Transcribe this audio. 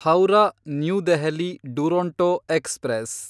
Howrah New Delhi Duronto express